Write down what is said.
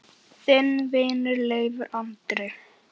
Þinn vinur, Leifur Andri.